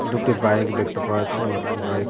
দুটি বাইক দেখতে পাওয়া যাচ্ছে এবং একটি বাইক --